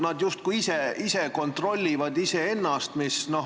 Nad justkui ise kontrollivad iseennast.